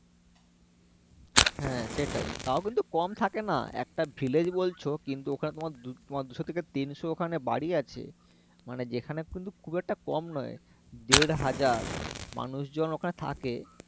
হ্যাঁ, সেটাই তাও কিন্তু কম থাকে না একটা বলছো কিন্তু ওখানে তোমার দু তোমার দুশ থেকে তিনশ ওখানে বাড়ি আছে মানে যেখানে কিন্তু খুব একটা কম নয় দেড়হাজার মানুষ জন ওখানে থাকে